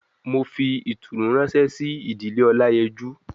mo fi itunu ranse si idile olayeju